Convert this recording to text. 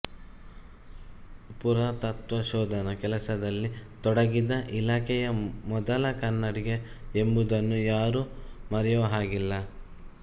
ಪುರಾತತ್ವ ಶೋಧನ ಕೆಲಸದಲ್ಲಿ ತೊಡಗಿದ ಇಲಾಖೆಯ ಮೊದಲ ಕನ್ನಡಿಗ ಎಂಬುದನ್ನು ಯಾರೂ ಮರೆಯುವ ಹಾಗಿಲ್ಲ